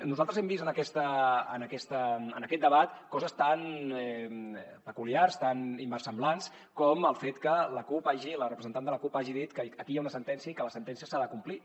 nosaltres hem vist en aquest debat coses tan peculiars tan inversemblants com el fet que la cup la representant de la cup hagi dit que aquí hi ha una sentència i que la sentència s’ha de complir